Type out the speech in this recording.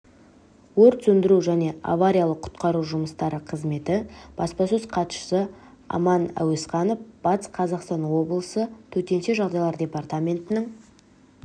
өрт сөндіру және авариялық-құтқару жұмыстары қызметі баспасөз хатшысы аман әуесханов батыс қазақстан облысы төтенше жағдайлар департаментінің